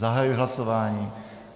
Zahajuji hlasování.